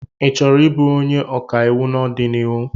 Ị chọrọ ị bụ onye ọkàiwụ n'ọdịnihu?